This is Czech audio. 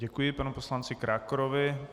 Děkuji panu poslanci Krákorovi.